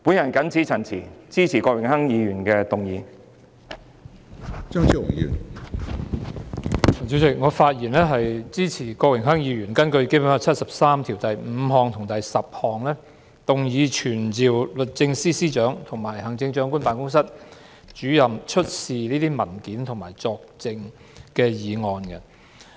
主席，我發言支持郭榮鏗議員根據《中華人民共和國香港特別行政區基本法》第七十三條第五及十項，傳召律政司司長及行政長官辦公室主任出示有關文件和作證。